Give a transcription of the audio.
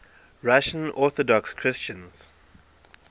russian orthodox christians